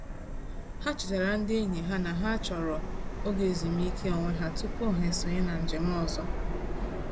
Ha chetara ndị enyi ha na ha chọrọ oge ezumiike onwe ha tụpụ ha esonye na njem ọzọ.